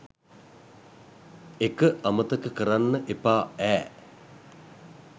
එක අමතක කරන්න එපා ඈ